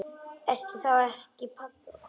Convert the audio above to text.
Ertu þá ekki pabbi okkar?